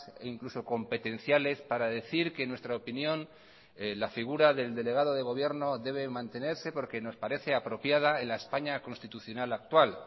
e incluso competenciales para decir que en nuestra opinión la figura del delegado de gobierno debe mantenerse porque nos parece apropiada en la españa constitucional actual